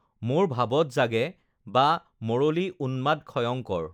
মোৰ ভাবত জাগে বা মৰলী উন্মাদ ক্ষয়ঙ্কৰ